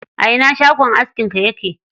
A ina shagon askin ka yake?